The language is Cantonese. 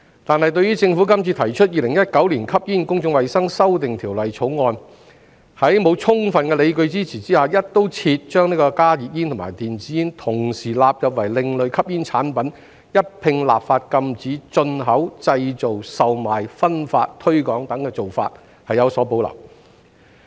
但是，對於政府今次提出《2019年吸煙條例草案》，在沒有充分理據的支持下，"一刀切"把加熱煙與電子煙同時納入為另類吸煙產品，一併立法禁止進口、製造、售賣、分發丶推廣等的做法，我們有所保留。